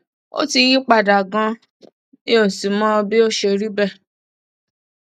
ó ti yí padà ganan mi ò sì mọ bí ó ṣe rí bẹẹ